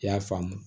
I y'a faamu